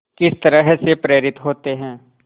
किस तरह से प्रेरित होते हैं